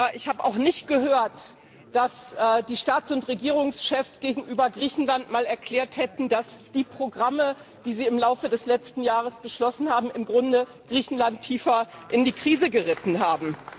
Ich habe auch nicht gehört, dass die Staats und Regierungschefs gegenüber Griechenland einmal erklärt hätten, dass die Programme, die sie im Laufe des letzten Jahres beschlossen haben, Griechenland im Grunde tiefer in die Krise geritten haben.